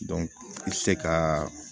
i bɛ se ka